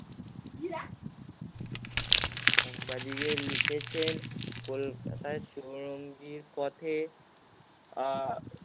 সাংবাদিকে লিখেছেন কলকাতায় চৌরঙ্গীর পথে আহ